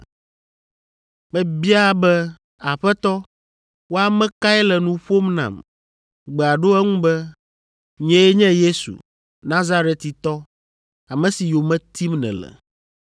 “Mebia be, ‘Aƒetɔ, wò ame kae le nu ƒom nam?’ “Gbea ɖo eŋu be, ‘Nyee nye Yesu, Nazaretitɔ, ame si yome tim nèle.’